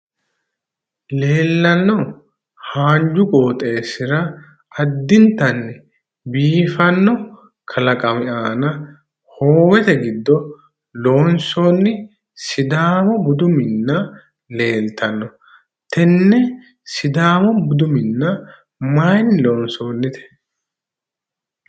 leellanno haanju qooxeessira addintanni biifanno kalaqami aana hoowete giddo loonsoonni sidaamu budu minna leeltanno tenne sidaamu budu minna mayiinni loonsoonnite?